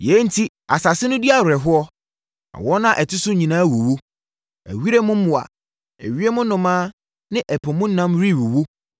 Yei enti asase no di awerɛhoɔ na wɔn a ɛte so nyinaa wuwu; ewiram mmoa, ewiem nnomaa ne ɛpo mu nam rewuwu.